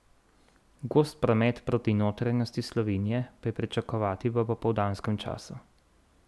Gost promet proti notranjosti Slovenije pa je pričakovati v popoldanskem času.